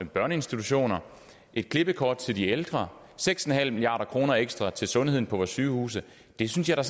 børneinstitutioner et klippekort til de ældre seks milliard kroner ekstra til sundheden på vores sygehuse det synes jeg